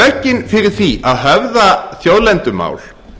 rökin fyrir því að höfða þjóðlendumál